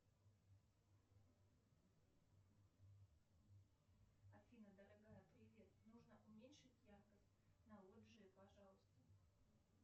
афина дорогая привет нужно уменьшить яркость на лоджии пожалуйста